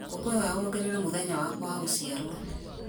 ngũkwĩhoya wongerere mũthenya wakwa wa gũciarwo